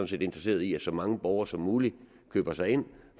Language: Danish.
set interesserede i at så mange borgere som muligt køber sig ind